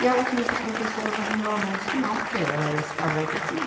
ela queria ser professora, mas o meu avô disse que não, porque ela ia se casar e ter filho.